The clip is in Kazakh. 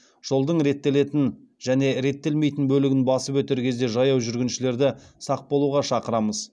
жолдың реттелетін және реттелмейтін бөлігін басып өтер кезде жаяу жүргіншілерді сақ болуға шақырамыз